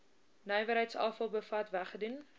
nywerheidsafval bevat weggedoen